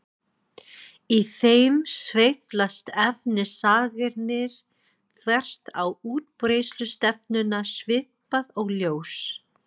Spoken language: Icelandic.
Í þeim sveiflast efnisagnirnar þvert á útbreiðslustefnuna svipað og ljós.